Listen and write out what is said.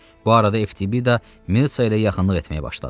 Bu arada Eftibida Mirtsa ilə yaxınlıq etməyə başladı.